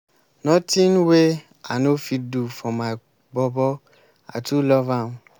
notin wey i no fit do for my bobo i too love am.